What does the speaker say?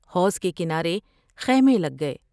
حوض کے کنارے خیمے لگ گئے ۔